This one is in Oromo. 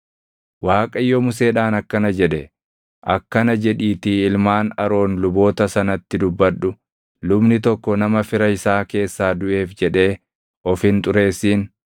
Waaqayyo Museedhaan akkana jedhe; “Akkana jedhiitii ilmaan Aroon luboota sanatti dubbadhu: ‘Lubni tokko nama fira isaa keessaa duʼeef jedhee of hin xureessin;